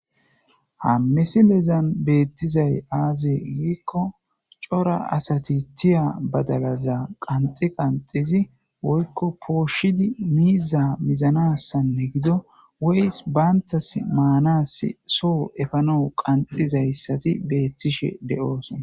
Ha missilezan bettizay aze giko cora asati tiya badalaza qanxi qanxidi woykko poshshidi miiza mizanasine gido woy bantas manas soho effanawu qanxizaysazi bettishe deossona.